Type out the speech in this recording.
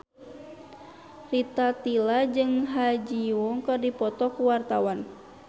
Rita Tila jeung Ha Ji Won keur dipoto ku wartawan